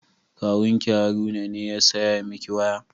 Kawun ki Haruna ne ya saya miki waya?